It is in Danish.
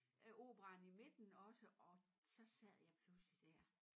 Øh operaen i midten også og så sad jeg pludselig dér